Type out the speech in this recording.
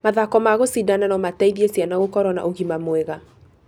Mathako ma kũcidana no mateithie ciana gũkoro na ũgima mwega.